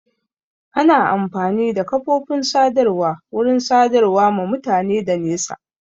Ana amfani da kafofin sadarwa wurin sadarwa ma mutane da nesa